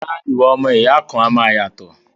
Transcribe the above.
Rárá, ìwà ọmọ ìyá kan náà a máa yàtọ̀